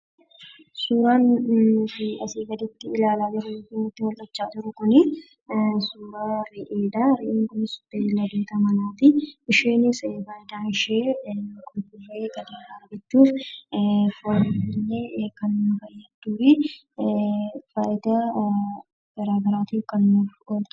Suuraan nuti asii gaditti ilaalaa jirru kunii suuraa beeyladoota manaati. Innis maqaan ishee Re'ee kan jedhamtuu fi foon ishee nyaatamu akkasumas fayidaa garaagaraatiif kan ooltudha.